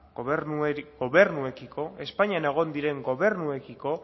gobernuekiko espainian egon diren gobernuekiko